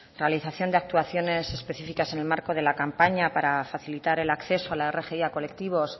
realización de actuaciones específicas en el marco de la campaña para facilitar el acceso a la rgi a colectivos